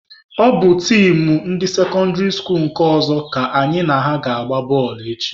Ọ bụ tim ndị sekọndịrị skuluu nke ọzọ ka anyị na ha ga-agba bọọlụ echi.